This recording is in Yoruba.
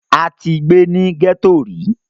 a ti gbé ní gẹ́tò rí